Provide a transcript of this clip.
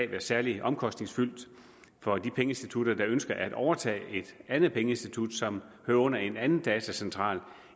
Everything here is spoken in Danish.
være særlig omkostningsfyldt for de pengeinstitutter der ønsker at overtage et andet pengeinstitut som hører under en anden datacentral